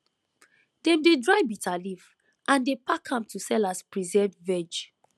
dem dey dry bitterleaf and dey pack am to sell as preserved veg